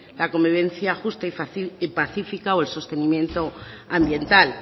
la convivencia justa y fácil y pacífica o el sostenimiento ambiental